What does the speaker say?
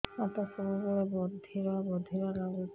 ହାତ ସବୁବେଳେ ବଧିରା ବଧିରା ଲାଗୁଚି